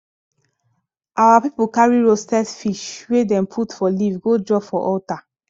our people carry roasted fish wey dem put for leaf go drop for altar